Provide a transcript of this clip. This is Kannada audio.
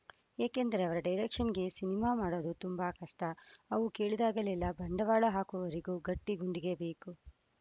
ಯಾಕಂದ್ರೆ ಅವರ ಡೈರೆಕ್ಷನ್‌ಗೆ ಸಿನಿಮಾ ಮಾಡೋದು ತುಂಬಾ ಕಷ್ಟ ಅವ್ರು ಕೇಳಿದಾಗೆಲ್ಲ ಬಂಡವಾಳ ಹಾಕುವವರಿಗೂ ಗಟ್ಟಿಗುಂಡಿಗೆ ಬೇಕು